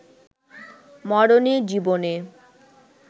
মরণে-জীবনে